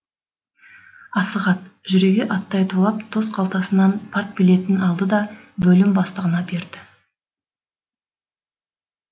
асығат жүрегі аттай тулап тос қалтасынан партбилетін алды да бөлім бастығына берді